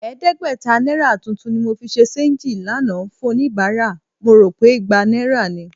Ẹ̀ẹ́dẹ́gbẹ̀ta náírà tuntun ni mo fi ṣe ṣééńjì lánàá fún oníbàárà, mo rò pé igba náírà ni